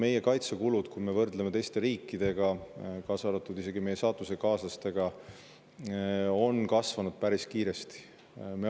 Meie kaitsekulud, kui me võrdleme neid teiste riikide, kaasa arvatud meie saatusekaaslaste, on kasvanud päris kiiresti.